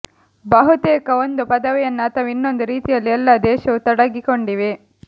ಬಹುತೇಕ ಒಂದು ಪದವಿಯನ್ನು ಅಥವಾ ಇನ್ನೊಂದು ರೀತಿಯಲ್ಲಿ ಎಲ್ಲಾ ದೇಶವು ತೊಡಗಿಕೊಂಡಿವೆ